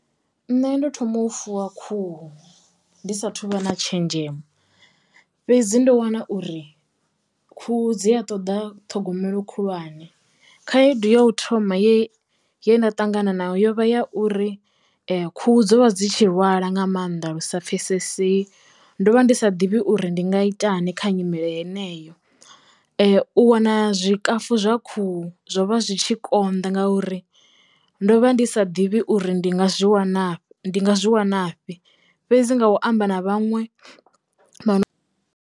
Nṋe ndo thoma u fuwa khuhu ndi sa thuvha na tshenzhemo, fhedzi ndo wana uri khuhu dzi a ṱoḓa ṱhogomelo khulwane khaedu yo u thoma ye ye nda ṱangana nayo yo vha ya uri khuhu dzo vha dzi tshi lwala nga maanḓa lusa pfesesei ndo vha ndi sa ḓivhi uri ndi nga itani kha nyimele heneyo. U wana zwikafu zwa khuhu zwo vha zwi tshi konḓa ngauri ndo vha ndi sa ḓivhi uri ndi nga zwi wana ndi nga zwi wanafhi fhedzi nga u amba na vhaṅwe